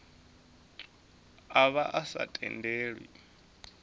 a vha a sa tendelwi